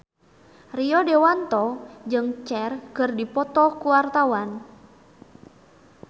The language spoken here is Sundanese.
Rio Dewanto jeung Cher keur dipoto ku wartawan